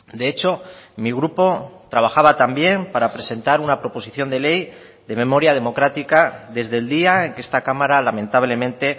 de hecho mi grupo trabajaba también para presentar una proposición de ley de memoria democrática desde el día en que esta cámara lamentablemente